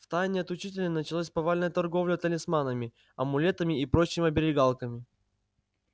в тайне от учителей началась повальная торговля талисманами амулетами и прочими оберегалками